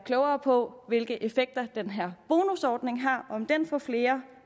klogere på hvilke effekter den her bonusordning har om den får flere